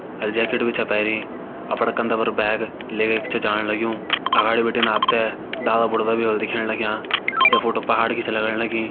अर jacket भीं छ पैरीं अपड़ा कंधा पर बैग लेके छ जाण लग्युं अगाड़ी बिटिन आप ते डाला बुरदा भी होला दिखेण लग्यां यह फोटो पहाड़ की छ लगण लगीं।